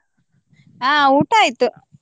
ಹ ಊಟ ಆಯ್ತು.